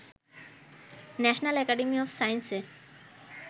national academy of সায়েন্সে